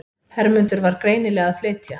Hermundur var greinilega að flytja.